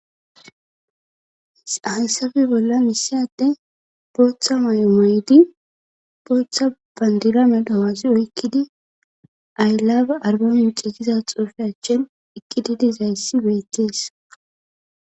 Hayssape bollan issi ade bootha mayo mayidi bootha banddira medho hazi oykkidi i love arbamice giza xuufe achen eqqidi dizayssi betes.